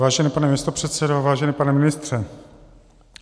Vážený pane místopředsedo, vážený pane ministře.